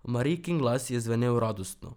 Marijkin glas je zvenel radostno.